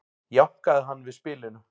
jánkaði hann við spilinu